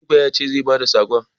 Direba ya ce zai ba da sakon.